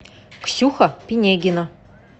ксюха пинегина